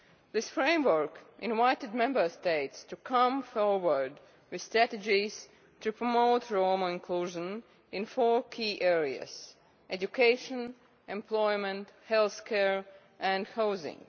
This Framework invited Member States to come forward with strategies to promote Roma inclusion in four key areas education, employment, healthcare and housing.